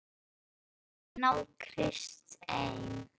Að þar komi ekki til náð Krists ein.